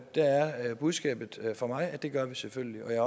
der er budskabet fra mig at det gør vi selvfølgelig og jeg